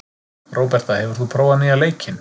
Róberta, hefur þú prófað nýja leikinn?